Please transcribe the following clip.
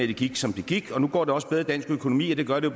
det gik som det gik og nu går det også bedre med dansk økonomi og det gør det